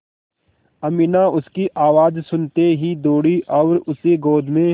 अमीना उसकी आवाज़ सुनते ही दौड़ी और उसे गोद में